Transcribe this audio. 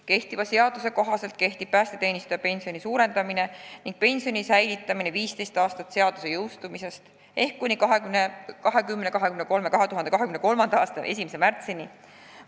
Kehtiva seaduse kohaselt kehtib päästeteenistuja pensioni suurendamine ning pensioni säilitamine 15 aastat seaduse jõustumisest ehk kuni 2023. aasta 1. märtsini.